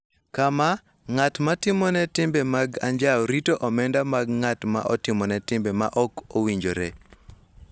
Kama ng�at ma timone timbe mag anjao rito omenda mag ng�at ma otimone timbe ma ok owinjore